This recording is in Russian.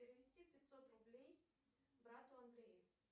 перевести пятьсот рублей брату андрею